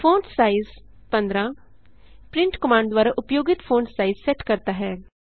font size 15 print command द्वारा उपयोगित font size set करता है